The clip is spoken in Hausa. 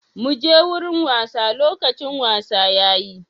Muje wurin wasa, lokacin wasa yayi.